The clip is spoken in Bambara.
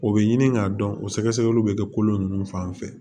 O bɛ ɲini k'a dɔn o sɛgɛsɛgɛliw bɛ kɛ kolo ninnu fan fɛ